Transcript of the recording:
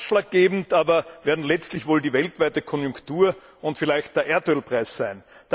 Ausschlaggebend aber werden letztlich wohl die weltweite Konjunktur und vielleicht der Erdölpreis sein.